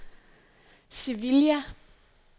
Sevilla